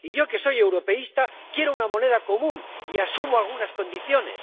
Y yo, que soy europeísta, quiero una moneda común y asumo algunas condiciones.